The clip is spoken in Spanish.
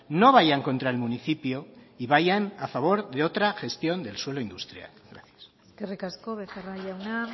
no vayan contra el municipio y vayan a favor de otra gestión del suelo industrial gracias eskerrik asko becerra jauna